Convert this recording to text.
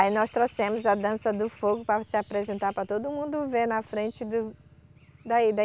Aí nós trouxemos a Dança do Fogo para se apresentar, para todo mundo ver na frente do daí da